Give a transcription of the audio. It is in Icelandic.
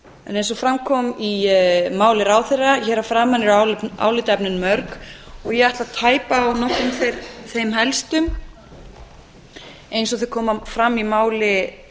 en eins og fram kom í máli ráðherra hér að framan eru álitaefnin mörg og ég ætla að tæpa á nokkrum þeim helstu eins og þau koma fram í máli